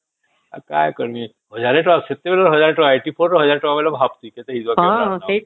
ଆଉ କଣ କରିବ ଏକ ହଜାର ଟଙ୍କା ସେତେବଳେ ଏକ ହଜାର ଟଙ୍କା ଅଶୀ ଚାରି ରେ ଏକ ହଜାର ଟଙ୍କା ବୋଇଲେ ଭାବୁଛେ କେତେ ହେଇଥିବା